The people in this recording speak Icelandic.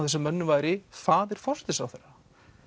þessum mönnum væri faðir forsætisráðherra